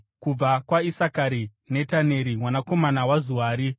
kubva kwaIsakari, Netaneri mwanakomana waZuari;